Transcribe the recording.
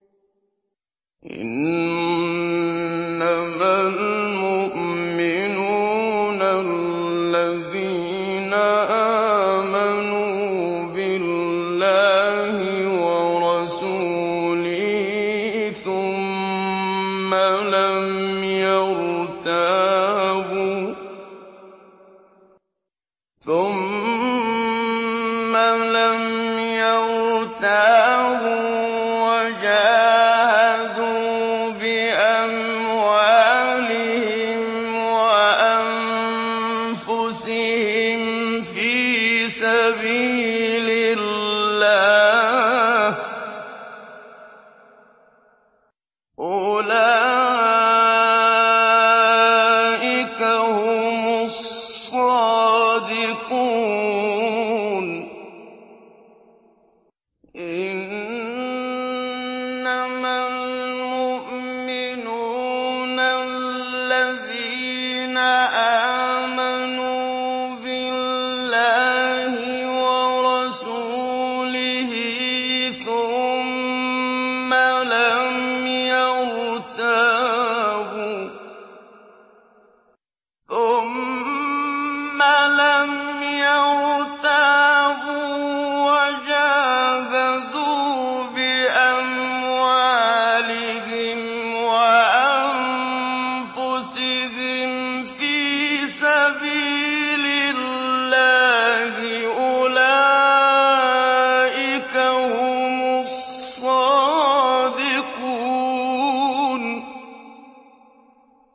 إِنَّمَا الْمُؤْمِنُونَ الَّذِينَ آمَنُوا بِاللَّهِ وَرَسُولِهِ ثُمَّ لَمْ يَرْتَابُوا وَجَاهَدُوا بِأَمْوَالِهِمْ وَأَنفُسِهِمْ فِي سَبِيلِ اللَّهِ ۚ أُولَٰئِكَ هُمُ الصَّادِقُونَ